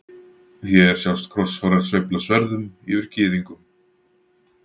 Hér sjást krossfarar sveifla sverðum yfir gyðingum.